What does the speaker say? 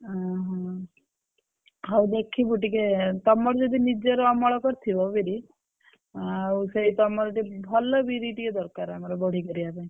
ଓହୋ! ହଉ ଦେଖିବୁ ଟିକେ ତମର ଯଦି ନିଜର ଅମଳ କରିଥିବ ବିରି ଆଉ ସେଇ ତମର ଭଲ ବିରି ଟିକେ ଦରକାର ଆମର ବଢି ପାରିବା ପାଇଁ।